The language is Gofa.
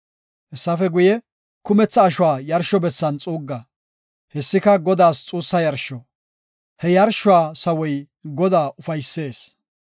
Hessafe guye, kumetha ashuwa yarsho bessan xuugga. Hessika Godaas xuussa yarsho. He yarshuwa sawoy Godaa ufaysees.